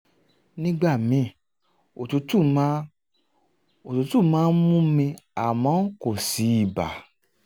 nígbà míì òtútù máa òtútù máa ń mú mi àmọ́ kò sí ibà